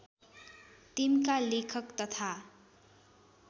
टिम्का लेखक तथा